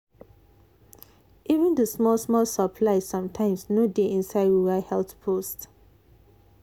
even the small small supplies sometimes no dey inside rural health post.